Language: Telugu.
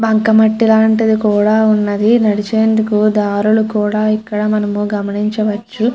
బంక మట్టి లాంటిది కూడా ఉన్నది నడిచేందుకు దారులు కూడా ఇక్కడ మనము గమనించవచ్చు.